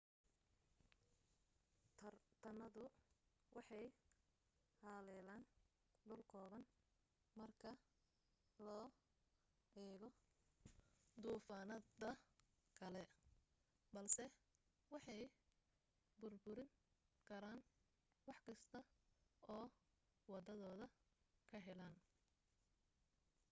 toornaadadu waxay haleelaan dhul kooban marka loo eego duufaanada kale balse waxay burburin karaan wax kasta oo waddadooda ka helaaan